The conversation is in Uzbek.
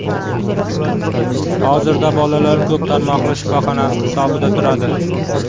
Hozirda bolalar ko‘p tarmoqli shifoxonasi hisobida turadi.